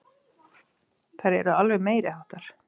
Þær eru alveg meiriháttar!